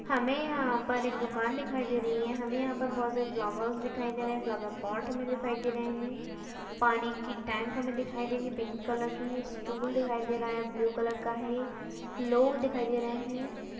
हमें यहाँ पर एक दुकान दे रही है। हमें यहाँ पर बहुत सारे फ्लावर्स दिखाई दे रही है। फ्लावरपॉट हमें दिखाई दे रहे है। पानी की टैंक हमें दिखाई दे रही है पिंक कलर की है स्टूल दिखाई दे रहा है ब्लू कलर का है। लोग दिखाई दे रहे है।